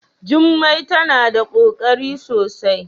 Jummai tana da kokari sosai.